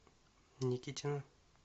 никитина